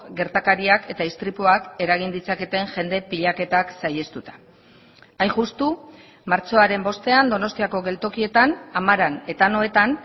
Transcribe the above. gertakariak eta istripuak eragin ditzaketen jende pilaketak saihestuta hain justu martxoaren bostean donostiako geltokietan amaran eta anoetan